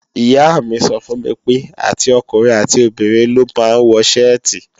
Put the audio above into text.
Ìyá mi sọ fún mi pé, àti ọkùnrin àti obìnrin ló máa ń wọ ṣẹ́ẹ̀tì